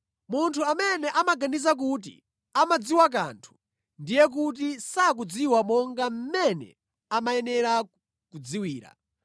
Munthu amene amaganiza kuti amadziwa kanthu, ndiye kuti sakudziwa monga mmene amayenera kudziwira.